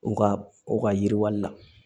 U ka u ka yiriwali la